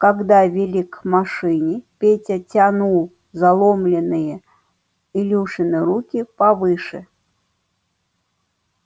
когда вели к машине петя тянул заломленные илюшины руки повыше